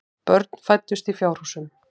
Börn fæddust í fjárhúsum.